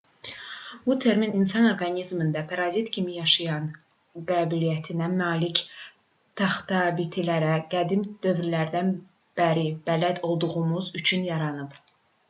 bu termin insan orqanizmində parazit kimi yaşamaq qabiliyyətinə malik taxtabitilərə qədim dövrlərdən bəri bələd olduğumuz üçün yaranıb